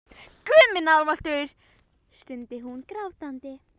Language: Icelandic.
Guð minn almáttugur, stundi hún grátandi.